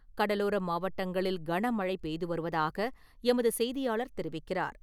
கடலோர மாவட்டங்களில் கன மழை பெய்து வருவதாக எமது செய்தியாளர் தெரிவிக்கிறார்.